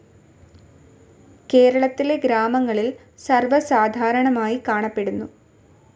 കേരളത്തിലെ ഗ്രാമങ്ങളിൽ സർവസാധാരണമായി കാണപ്പെടുന്നു.